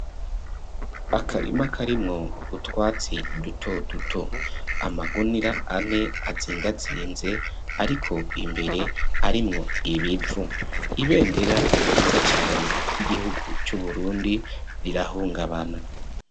Akarima karimwo utwatsi duto duto amagunira ane atzingatsinze ariko imbere arimwo ibipfu ibendera vyiza cane ry'igihugu c'uburundi rirahungabana.